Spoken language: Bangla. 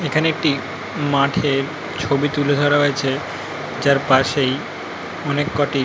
এখানে একটি মাঠের ছবি তুলে ধরা হয়েছে যার পাশেই অনেককটি --